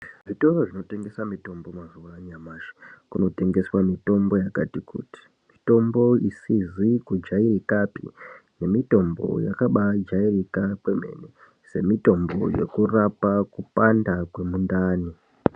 Zvitoro zvino tengesa mitombo mazuva anyamashi kuno tengeswa mitombo yakati kuti mitombo isizi ku jairikapi ne mitombo yakabai jairika kwe mene se mitombo yeku rapa kupanda kwe mundani.